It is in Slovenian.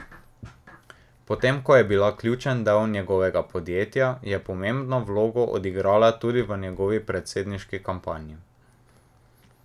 Potem ko je bila ključen del njegovega podjetja, je pomembno vlogo odigrala tudi v njegovi predsedniški kampanji.